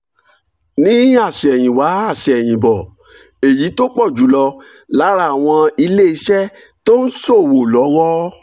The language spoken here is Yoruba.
ní àsẹ̀yìnwá àsẹ̀yìnbọ̀ èyí tó pọ̀ jù lọ lára àwọn ilé iṣẹ́ tó ń ṣòwò lọ́wọ́